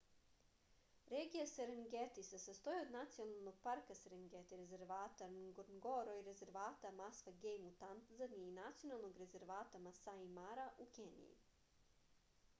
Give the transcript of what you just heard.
regija serengeti se sastoji od nacionalnog parka serengeti rezervata ngorongoro i rezervata masva gejm u tanzaniji i nacionalnog rezervata masai mara u keniji